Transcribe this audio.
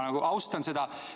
Ma austan seda.